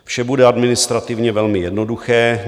Vše bude administrativně velmi jednoduché.